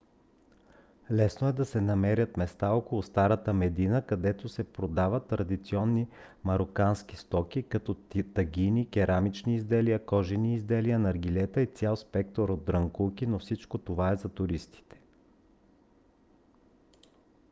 лесно да се намерят места около старата медина където се продават традиционни марокански стоки като тагини керамични изделия кожени изделия наргилета и цял спектър от дрънкулки но всичко това е за туристите